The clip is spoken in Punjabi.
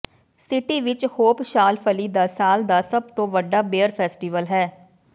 ਸਿਟੀ ਵਿਚ ਹੋਪ ਸ਼ਾਲਫ਼ਲੀ ਦਾ ਸਾਲ ਦਾ ਸਭ ਤੋਂ ਵੱਡਾ ਬੀਅਰ ਫੈਸਟੀਵਲ ਹੈ